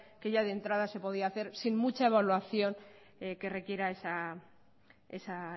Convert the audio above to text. que ya de entrada se podía hacer sin mucha evaluación que requiera esa